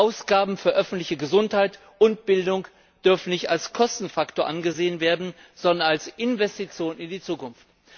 Ausgaben für öffentliche Gesundheit und Bildung dürfen nicht als Kostenfaktor angesehen werden, sondern als Investition in die Zukunft.